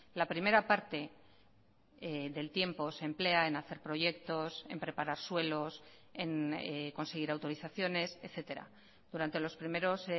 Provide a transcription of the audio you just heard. la primera parte del tiempo se emplea en hacer proyectos en preparar suelos en conseguir autorizaciones etcétera durante los primeros